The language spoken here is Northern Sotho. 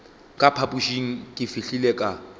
ka phapošeng ke fihlile ka